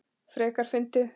Frekar fyndið!